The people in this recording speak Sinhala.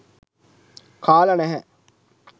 කාලා නැහැ